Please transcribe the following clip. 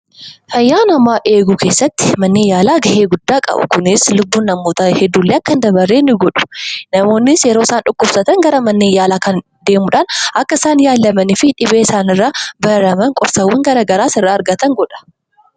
Fayyaa namaa eeguu keessaatti manneen yaalaa gahee olaanaa qabu. Kunis lubbuun namootaa hedduun akka hin dabarre illee ni godha. Namoonnis yeroo dhukkubsatan gara mana yaalaa deemuun achitti yaalamu.